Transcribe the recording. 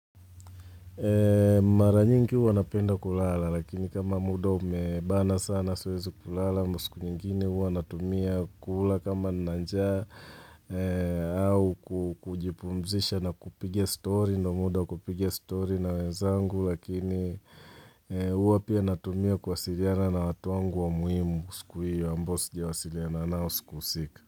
Mara nyingi huwa napenda kulala lakini kama muda umebana sana siwezi kulala ama siku nyingine huwa natumia kula kama nina njaa au kujipumzisha na kupiga story na muda kupiga story na wenzangu lakini huwa pia natumia kuwasiliana na watu wangu wa muhimu siku hiyo ambao sijawasiliana nao siku husika.